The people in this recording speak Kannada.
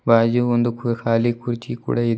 ಬಾಜು ಒಂದು ಕು ಖಾಲಿ ಕುರ್ಚಿ ಕೂಡ ಇದೆ.